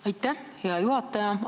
Aitäh, hea juhataja!